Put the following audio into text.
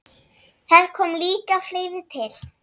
Þar kom líka fleira til.